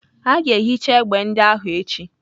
A ga-ehicha egbe ndị ahụ echi.